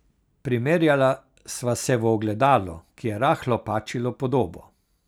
Premerjala sva se v ogledalu, ki je rahlo pačilo podobo.